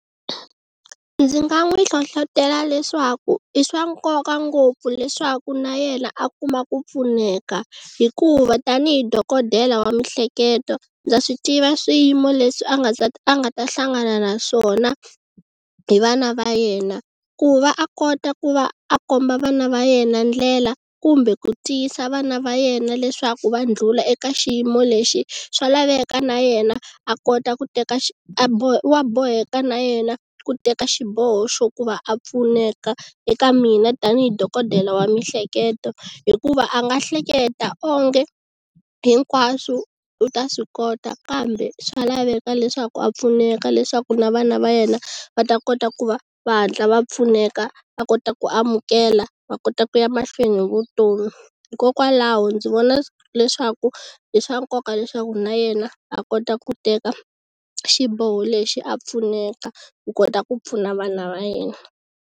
Ndzi nga n'wi hlohlotelo leswaku i swa nkoka ngopfu leswaku na yena a kuma ku pfuneka hikuva tanihi dokodela wa mihleketo ndza swi tiva swiyimo leswi a nga a nga ta hlangana naswona hi vana va yena ku va a kota ku va a komba vana va yena ndlela kumbe ku tiyisa vana va yena leswaku va ndlhula eka xiyimo lexi swa laveka na yena a kota ku teka wa boheka na yena ku teka xiboho xo ku va a pfuneka eka mina tanihi dokodela wa miehleketo hikuva a nga hleketa onge hinkwaswo u ta swi kota kambe swa laveka leswaku a pfuneka leswaku na vana va yena va ta kota ku va va hatla va pfuneka va kota ku amukela va kota ku ya mahlweni hi vutomi hikokwalaho ndzi vona leswaku i swa nkoka leswaku na yena a kota ku teka xiboho lexi a pfuneka ku kota ku pfuna vana va yena.